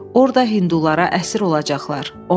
"Orda hindulara əsir olacaqlar."